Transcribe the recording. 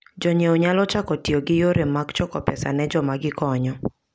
Jonyiewo nyalo chako tiyo gi yore mag choko pesa ne joma gikonyo.